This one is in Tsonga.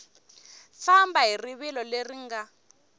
famba hi rivilo leri nga